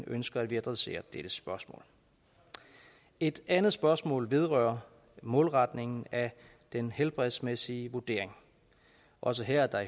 ønsker at vi adresserer dette spørgsmål et andet spørgsmål vedrører målretningen af den helbredsmæssige vurdering også her er